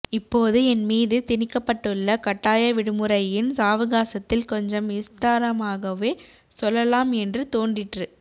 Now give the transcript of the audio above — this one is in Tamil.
இப்போது என் மீது திணிக்கப்பட்டுள்ள கட்டாய விடுமுறையின் சாவகாசத்தில் கொஞ்சம் விஸ்தாரமாகவே சொல்லலாம் என்று தோன்றிற்று